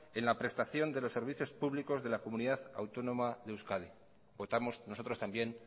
en la prestación de los servicios públicos de la comunidad autónoma de euskadi votamos nosotros también